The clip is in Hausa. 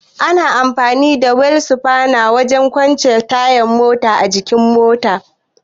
Ana amfani da wil sifana wajen kwance taya daga jikin mota.